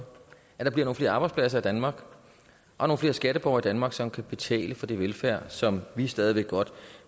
at der bliver nogle flere arbejdspladser i danmark og flere skatteborgere danmark som kan betale for den velfærd som vi stadig væk godt